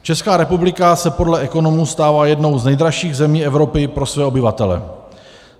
Česká republika se podle ekonomů stává jednou z nejdražších zemí Evropy pro své obyvatele.